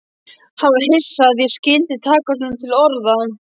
Hann var hissa að ég skyldi taka svona til orða.